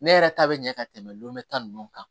Ne yɛrɛ ta bɛ ɲɛ ka tɛmɛ lu ta nunnu kan